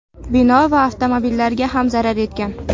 Bino va avtomobillarga ham zarar yetgan.